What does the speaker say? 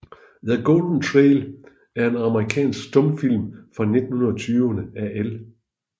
The Golden Trail er en amerikansk stumfilm fra 1920 af L